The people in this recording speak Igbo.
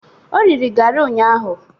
O riri garị ụnyaahụ.